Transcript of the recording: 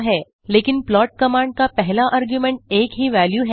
but the first argument to the plot command is a single value